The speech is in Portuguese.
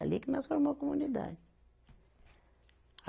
Ali que nós formou a comunidade.